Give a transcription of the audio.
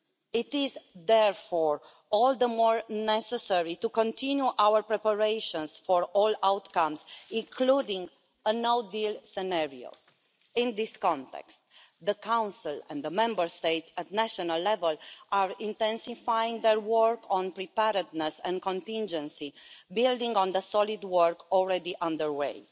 It is therefore all the more necessary to continue our preparations for all outcomes, including a no deal scenario. In this context, the Council and the Member States at national level are intensifying their work on preparedness and contingency, building on the solid work already underway.